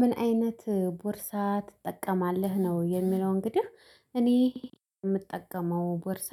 ምን አይነት ቦርሳ ትጠቀማለህ? ነው የሚለው እንግዲህ እኔ የምጠቀመው ቦርሳ